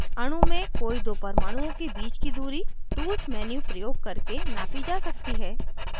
अणु में कोई दो परमाणुओं के बीच की दूरी tools menu प्रयोग करके नापी जा सकती है